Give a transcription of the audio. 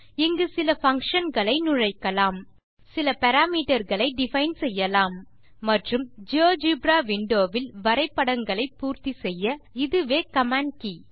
இங்கு சில functionகளை நுழைக்கலாம் சில பாராமீட்டர் களை டிஃபைன் செய்யலாம் மற்றும் ஜியோஜெப்ரா விண்டோ வில் வரைபடங்களை பூர்த்தி செய்ய இதுவே கமாண்ட் கே